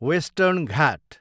western Ghat